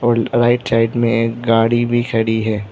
और right side में एक गाड़ी भी खड़ी है।